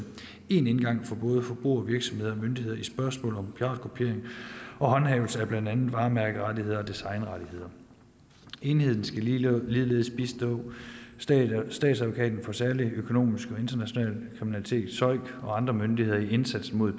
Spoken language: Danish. en indgang for både forbrugere virksomheder og myndigheder i spørgsmålet om piratkopiering og håndhævelse af blandt andet varemærkerettigheder og designrettigheder enheden skal ligeledes bistå statsadvokaten for særlig økonomisk og international kriminalitet søik og andre myndigheder i indsatsen mod